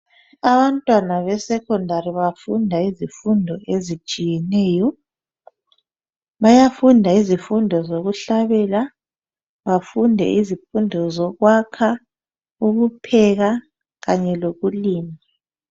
Abantwana besekhondari bafunda izifundo ezitshiyeneyo. Bayafunda izifundo zokuhlabela, bafunde izifundo zokwakha, ukupheka kanye lokulima.